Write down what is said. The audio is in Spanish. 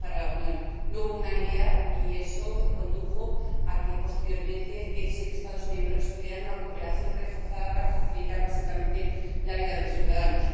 No hubo unanimidad, y eso condujo a que posteriormente diecisiete Estados miembros pidieran una cooperación reforzada para facilitar básicamente la vida de los ciudadanos.